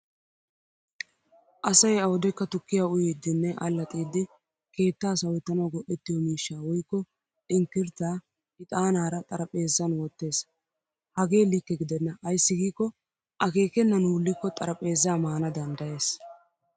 Asay awudekka tukkiya uyiiddinne allaxxiddii keettaa sawettanawu go'ettiyo mishshaa woykko inkirttaa ixaanaara xarapheessan wottes. Hagee likke gidenna ayssi giikko akkeekennan wullikko xaraphpheezzaa maana danddayes.